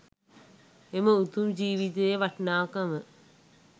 එම උතුම් ජීවිතයේ වටිනාකම